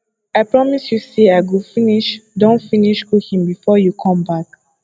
i promise you say i go finish don finish cooking before you come back